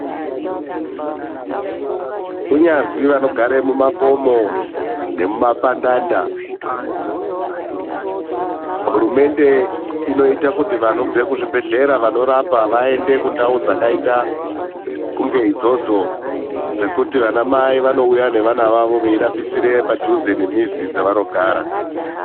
Kunyazwi vanogara mumakomo nemuma pandanda, hurumende inoita kuti vanobve kuzvi bhedhlera vanorapa vaende kundau dzakaita kunge idzodzo dzekuti vana mai vanouya nevana vavo veirapisire padhuze nemizi dzevanogara.